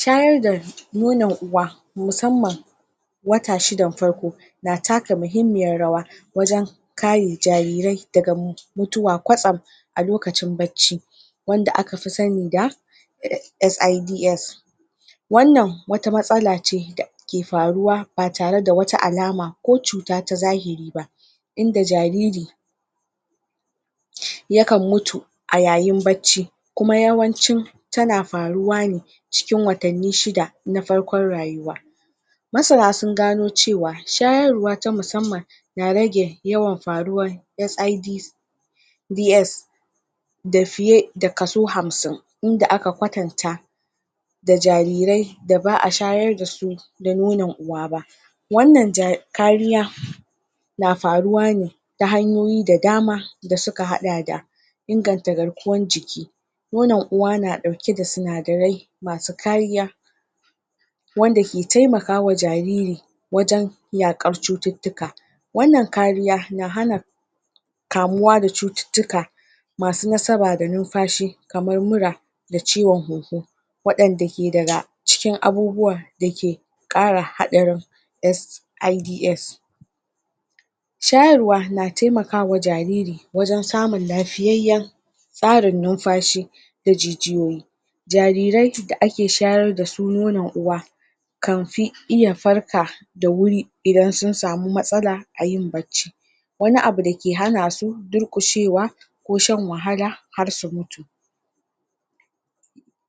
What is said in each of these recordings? Shayar da nonon uwa musamman wata shidan farko na taka muhimmiyar rawa wajan kare jarire daga mutuwa kwatsam a lokacin barci wanda aka fi sani da SIDS wannan wata matsala ce da ke faruwa ba tare da wata alama ko cuta ta zahiri ba inda jariri yakan mutu a yayin barci kuma yawancin tana faruwa ne cikin watanni shida na farkon rayuwa masana sun gano cewa shayarwa ta musamman na rage yawan faruwan SIDC ds da fiye da kasao hamsin, inda aka kwatanta da jarire da ba a shayar da su da nonon uwa ba wannan kariya na faruwa ne ta hanyoyi da dama da suka hada da inganta garkuwan jiki nonon uwa na dauke da sinadare masu kariya wanda ke temakawa jariri wajan yakar cututtuka wannan kariya na hana kamuwa da cututtuka masu nasaba da numfashi kamar mura da ciwon huhu wadan da ke daga kara hadarin kara hadarin s i d s shayarwa na temakawa jariri wan samun lafiyayyan tsarin numfashi i da jijiyoyi jarire da ake shayar da su nonon uwa kanfi iya farka da wuri idan sun sami matsala a yin bacci wani abu da ke hanasu durkushewa ko shan wahala har su mutu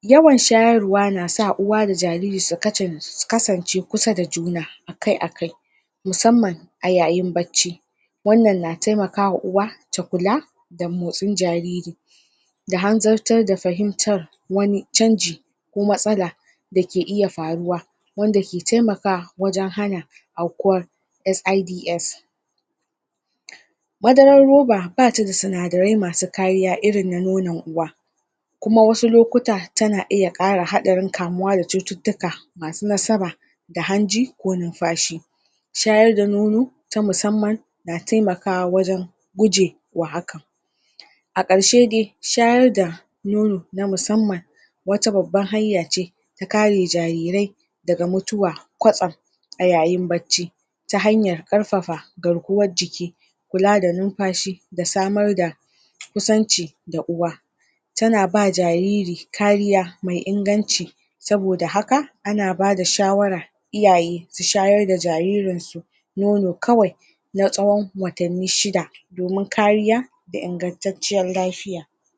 yawan shayarwa na sa uwa da jariri su kasance kusa da juna aakai-akai mu samman a yayin barci wannan na temakawa uwa ta kula da motsin jariri da hanzartar da fahimtar wani canji ko matsala da ke iya faruwa, wanda ke temakawa wajan hana afkuwar s i d s madarar roba bata da sinadare masu kariya irinna nonan uwa kuma wasu lokuta tana kara iya hadarin kamuwa da cututtuka masu nasaba hanji ko numfashi shayar da nono ta musamman na temakawa wajan gujewa haka a karshede shyar da nono na musamman wata babban hanya ce ta kare jarire daga mutuwa kwatsam a yayin barci ta hanyar karfafa garkuwan jiki kula da numfashi da samar da kusancu da uwa tana ba jariri kariya mai inganci saboda haka ana bada shawara su shayar da jaririn kawai na tsawan watanni shida domin kariya da ingantacciyar lafiya